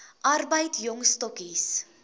arbeid jong stokkies